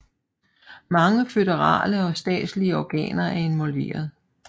Mange føderale og statslige organer er involveret